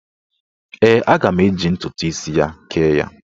Ee, aga m eji ntụtụ isi ya kee ya.